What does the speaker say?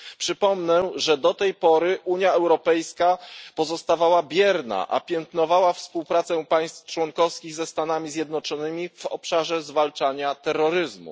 Przypomnę, że do tej pory Unia Europejska pozostawała bierna, a piętnowała współpracę państw członkowskich ze Stanami Zjednoczonymi w obszarze zwalczania terroryzmu.